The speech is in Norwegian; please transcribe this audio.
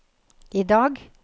idag